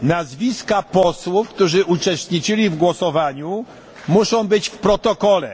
Nazwiska posłów, którzy uczestniczyli w głosowaniu muszą być w protokole.